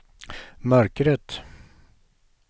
mörkret